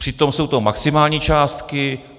Přitom jsou to maximální částky.